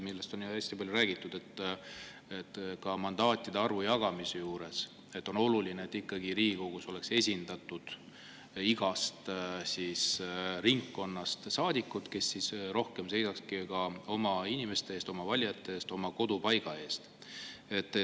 Sellest on hästi palju räägitud, et ka mandaatide arvu jagamisel on oluline, et Riigikogus oleks esindatud saadikud igast ringkonnast ja nad rohkem seisaks oma inimeste eest, oma valijate eest, oma kodupaiga eest.